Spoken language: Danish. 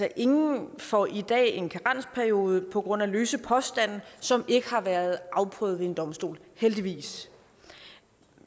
ingen får i dag en karensperiode på grund af løse påstande som ikke har været afprøvet ved en domstol heldigvis